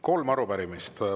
Kolm arupärimist.